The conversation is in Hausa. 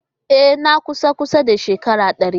Ee! Na kusan kusan shekaru dari.